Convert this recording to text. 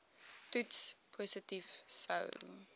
toets positief sou